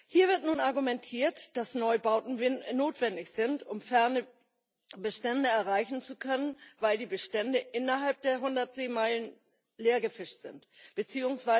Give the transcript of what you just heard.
Hier wird nun argumentiert, dass Neubauten notwendig sind, um ferne Bestände erreichen zu können, weil die Bestände innerhalb der 100 Seemeilen leergefischt sind bzw.